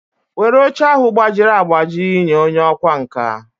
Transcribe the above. Were oche ahụ gbajiri agbaji nye onye ọkwá nkà!